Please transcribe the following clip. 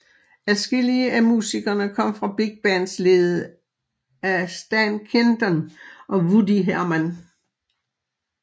Adskillige af musikerne kom fra big bands ledet af Stan Kenton og Woody Herman